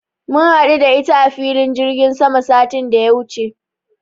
Mun haɗu da ita a filin jirgin sama satin da ya wuce.